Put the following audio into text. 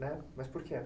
Mas por quê?